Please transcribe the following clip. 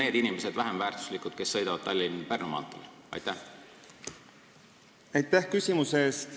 Või on need inimesed, kes sõidavad Tallinna–Pärnu maanteel, vähem väärtuslikud?